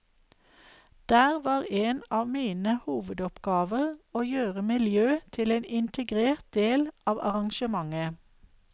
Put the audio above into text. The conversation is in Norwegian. Der var en av mine hovedoppgaver å gjøre miljø til en integrert del av arrangementet.